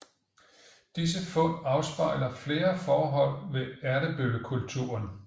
Disse fund afspejler flere forhold ved Ertebøllekulturen